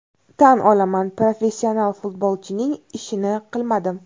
Tan olaman, professional futbolchining ishini qilmadim.